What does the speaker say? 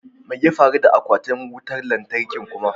Me ya faru da aquatin wutan latarkin kuma?